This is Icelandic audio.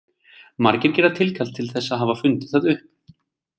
Margir gera tilkall til þess að hafa fundið það upp.